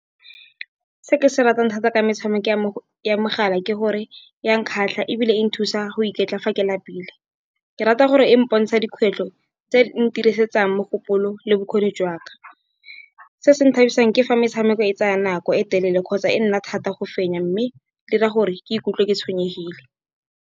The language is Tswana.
Se ke se ratang thata ke metshameko ya mogala, ke gore ya nkgatlha ebile e nthusa go iketla fa ke lapile. Ke rata gore e mpotsha dikgwetlho tse ntirisetsang mogopolo le bokgoni jwa ka. Se se nthabisang ke fa metshameko e tsaya nako e telele, kgotsa e nna thata go fenya mme di dira gore ke ikutlwe ke tshwenyegile.